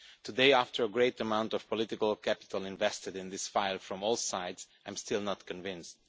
Today, after a great amount of political capital invested in this file from all sides, I am still not convinced.